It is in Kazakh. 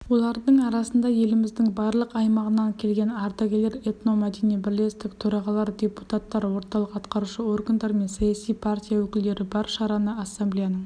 олардың арасында еліміздің барлық аймағынан келген ардагерлер этномәдени бірлестік төрағалары депутаттар орталық атқарушы органдар мен саяси партия өкілдері бар шараны ассамблеяның